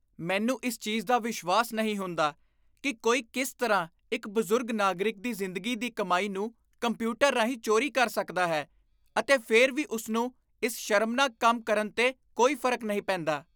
ਮੈਨੂੰ ਇਸ ਚੀਜ਼ ਦਾ ਵਿਸ਼ਵਾਸ ਨਹੀਂ ਹੁੰਦਾ ਕਿ ਕੋਈ ਕਿਸ ਤਰ੍ਹਾਂ ਇੱਕ ਬਜ਼ੁਰਗ ਨਾਗਰਿਕ ਦੀ ਜ਼ਿੰਦਗੀ ਦੀ ਕਮਾਈ ਨੂੰ ਕੰਪਿਊਟਰ ਰਾਹੀਂ ਚੋਰੀ ਕਰ ਸਕਦਾ ਹੈ ਅਤੇ ਫਿਰ ਵੀ ਉਸ ਨੂੰ ਇਸ ਸ਼ਰਮਨਾਕ ਕੰਮ ਕਰਨ 'ਤੇ ਕੋਈ ਫਰਕ ਨਹੀਂ ਪੈਂਦਾ।